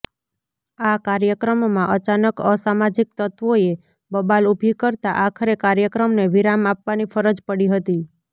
આ કાર્યક્રમમાં અચાનક અસામાજિક તત્વોએ બબાલ ઉભી કરતા આખરે કાર્યક્રમને વિરામ આપવાની ફરજ પડી હતી